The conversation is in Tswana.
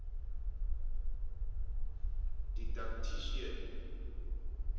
didactician